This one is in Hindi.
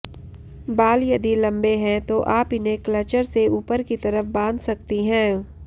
बाल यदि लंबे हैं तो आप इन्हें क्लचर से ऊपर की तरफ बांध सकती हैं